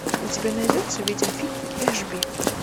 у тебя найдется видеофильм эшби